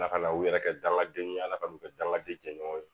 Ala ka na u yɛrɛ kɛ dangadenw ye ala ka n'u kɛ dankari jɛɲɔgɔn ye